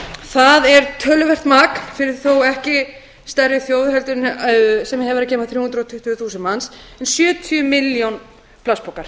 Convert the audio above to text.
það er töluvert magn fyrir þó ekki stærri þjóð en sem hefur að geyma þrjú hundruð og tuttugu þúsund manns um sjötíu milljón plastpokar